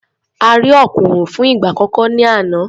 A rí òkùnrùn fún ìgbà àkọ́kọ́ ní àná.